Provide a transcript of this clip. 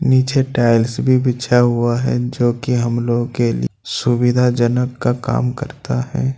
नीचे टाइल्स भी बिछा हुआ है जो कि हम लोग के सुविधाजनक का काम करता है।